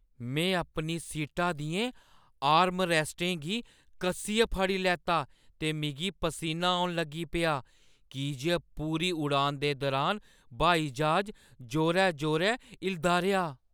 मैं अपनी सीटा दियें आर्मरैस्टें गी कस्सियै फड़ी लैता ते मिगी पसीना औन लगी पेआ की जे पूरी उड़ान दे दरान ब्हाई ज्हाज जोरै-जोरै हिलदा रेहा ।